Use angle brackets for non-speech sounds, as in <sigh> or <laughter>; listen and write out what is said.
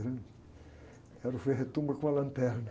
grande. Era o frei <unintelligible> com a lanterna.